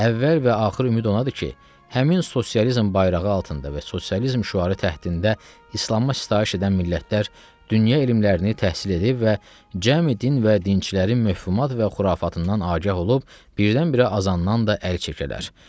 Əvvəl və axır ümid ondadır ki, həmin sosializm bayrağı altında və sosializm şüarı təhdində İslama sitayiş edən millətlər dünya elmlərini təhsil edib və cəmi din və dinçilərin məhfumat və xurafatından agah olub, birdən-birə azandan da əl çəkərlər.